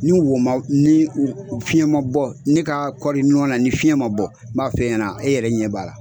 Ni woma ni fiɲɛ ma bɔ ne ka kɔɔri nɔ na ni fiɲɛ ma bɔ n b'a f'e ɲɛna e yɛrɛ ɲɛ b'a la